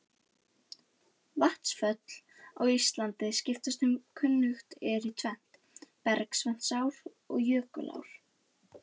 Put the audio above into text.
Vatnsföll á Íslandi skiptast sem kunnugt er í tvennt, bergvatnsár og jökulár.